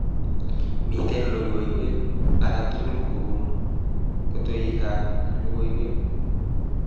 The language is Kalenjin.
Miten logoiwek alatugul kobun kotoikab logoiwek